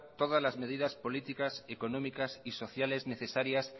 todas las medidas políticas económicas y sociales necesarias